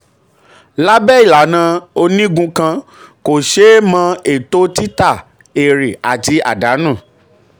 lábẹ́ ìlànà onígun kan kò ṣe é mọ ètò títà èrè àti àdánù.